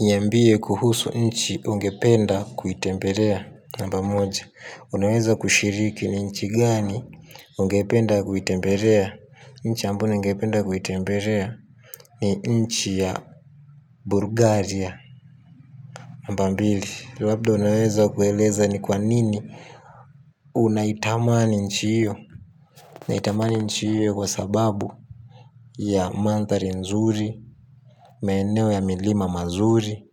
Niambie kuhusu nchi ungependa kuitembelea. Namba moja unaweza kushiriki ni nchi gani ungependa kuitembelea nchi ambayo ningependa kuitembelea. Ni nchi ya bulgaria. Namba mbili labda unaweza kueleza ni kwa nini. Unaitamani nchi hiyo. Naitamani nchi hiyo kwa sababu ya manthari nzuri. Maeneo ya milima mazuri.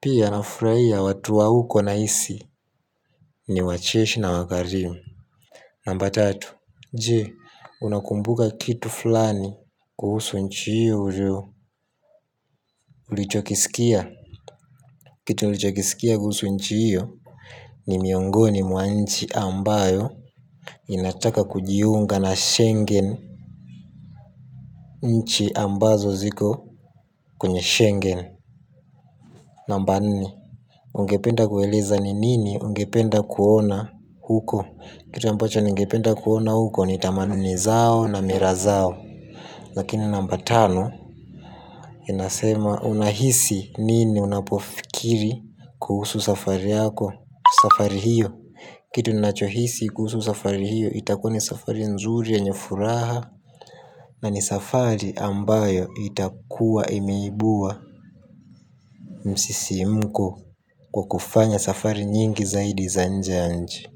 Pia anafurahia watu wa huko nahisi ni wacheshi na wakarimu. Namba tatu. Je, unakumbuka fulani kuhusu nchi hiyo ulichokiskia? Kitu nilichokiskia kuhusu nchi hiyo ni miongoni mwa nchi ambayo inataka kujiunga na shengen nchi ambazo ziko kwenye shengen. Namba nne. Ungependa kueleza ni nini ungependa kuona huko. Kitu ambacho ningependa kuona huko ni tamaduni zao na mila zao. Lakini namba tano inasema unahisi nini unapofikiri kuhusu safari yako. Kuhusu safari hiyo. Kitu ninachohisi kuhusu safari hiyo itakuwa ni safari nzuri yenye furaha. Na ni safari ambayo itakua imeibua msisimko. Kwa kufanya safari nyingi zaidi za nje ya nchi.